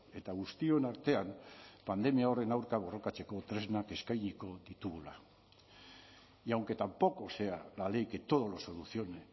eta guztion artean pandemia horren aurka borrokatzeko tresnak eskainiko ditugula y aunque tampoco sea la ley que todo lo solucione